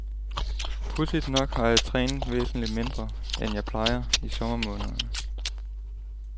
Pudsigt nok har jeg trænet væsentligt mindre, end jeg plejer, i sommermånederne.